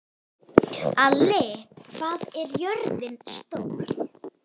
Ali, hvað er jörðin stór?